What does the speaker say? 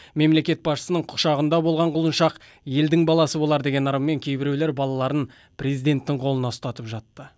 мемлекет басшысының құшағында болған құлыншақ елдің баласы болар деген ырыммен кейбіреулер балаларын президенттің қолына ұстатып жатты